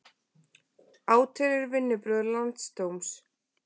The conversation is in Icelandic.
Átelur vinnubrögð landsdóms